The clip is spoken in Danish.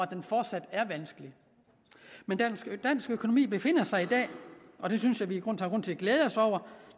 den fortsat er vanskelig men dansk økonomi befinder sig i dag og det synes jeg vi